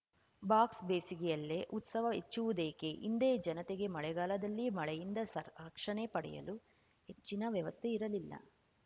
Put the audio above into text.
box ಬೇಸಿಗೆಯಲ್ಲೇ ಉತ್ಸವ ಹೆಚ್ಚುವುದೇಕೆ ಹಿಂದೆ ಜನತೆಗೆ ಮಳೆಗಾಲದಲ್ಲಿ ಮಳೆಯಿಂದ ಸ ರಕ್ಷಣೆ ಪಡೆಯಲು ಹೆಚ್ಚಿನ ವ್ಯವಸ್ಥೆ ಇರಲಿಲ್ಲ